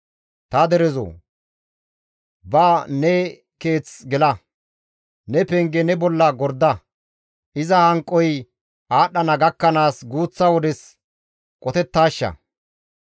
Ta derezoo! Ba ne keeth gela; ne penge ne bolla gorda; iza hanqoy aadhdhana gakkanaas guuththa wodes qotetaashsha.